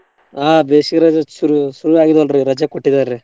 ಹಾ ಬೇಸ್ಗೆ ರಜೆ ಶುರು ಶುರುವಾಗಿದೆ ಅಲ್ರೀ ರಜೆ ಕೊಟ್ಟಿದ್ದಾರೀ.